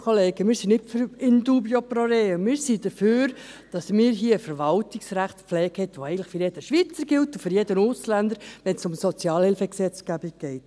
Wir sind nicht für «in dubio pro reo», wir sind dafür, dass wir hier eine Verwaltungsrechtpflege haben, die eigentlich für jeden Schweizer gilt und für jeden Ausländer, wenn es um die Sozialhilfegesetzgebung geht.